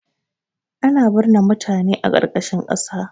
Ana bisinan mutane a ƙarƙashin ƙasa